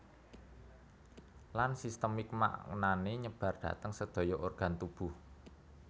Lan sistemik maknane nyebar dhateng sedaya organ tubuh